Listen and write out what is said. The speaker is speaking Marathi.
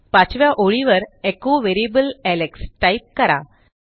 पाचव्या ओळीवर एचो व्हेरिएबल एलेक्स टाईप करा